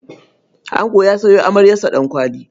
Ango ya sayo amaryarsa Ɗankwali.